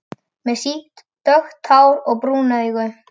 Með sítt, dökkt hár og brún augu.